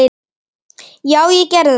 Já, ég gerði þetta!